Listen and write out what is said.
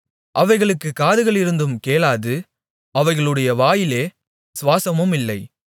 அவைகளுக்குக் காதுகளிருந்தும் கேளாது அவைகளுடைய வாயிலே சுவாசமுமில்லை